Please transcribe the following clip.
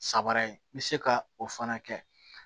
Sabara ye n bɛ se ka o fana kɛ